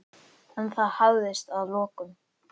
En það hafðist að lokum.